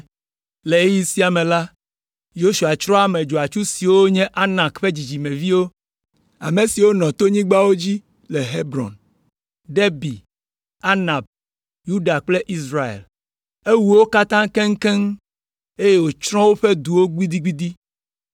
Le ɣeyiɣi sia me la, Yosua tsrɔ̃ ame dzɔatsu siwo nye Anak ƒe dzidzimeviwo, ame siwo nɔ tonyigbawo dzi le Hebron, Debir, Anab, Yuda kple Israel. Ewu wo katã keŋkeŋ, eye wòtsrɔ̃ woƒe duwo gbidigbidi.